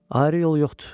Ayrı yol yoxdur.